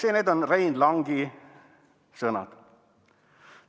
Ja need on Rein Langi sõnad.